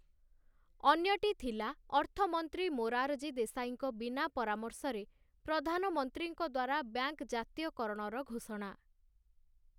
ଅନ୍ୟଟି ଥିଲା ଅର୍ଥମନ୍ତ୍ରୀ ମୋରାରଜୀ ଦେଶାଇଙ୍କ ବିନା ପରାମର୍ଶରେ ପ୍ରଧାନମନ୍ତ୍ରୀଙ୍କ ଦ୍ଵାରା ବ୍ୟାଙ୍କ୍‌ ଜାତୀୟକରଣର ଘୋଷଣା ।